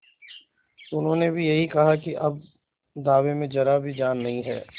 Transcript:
उन्होंने भी यही कहा कि अब दावे में जरा भी जान नहीं है